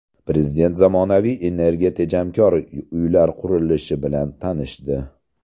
Prezident zamonaviy energiya tejamkor uylar qurilishi bilan tanishdi.